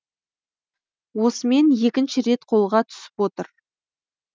осымен екінші рет қолға түсіп отыр